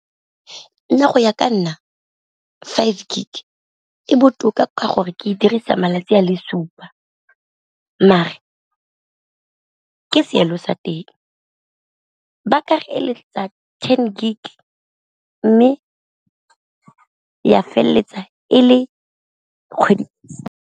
Nna go ya ka nna five gig e botoka ka gore ke e dirisang malatsi a le supa, mare ke seelo sa teng ba ka ten gig mme ya feleletsa e le kgwedi.